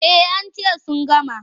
Eh an ce sun gama.